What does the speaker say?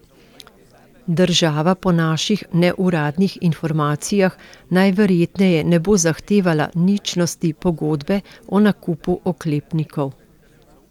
Država po naših neuradnih informacijah najverjetneje ne bo zahtevala ničnosti pogodbe o nakupu oklepnikov.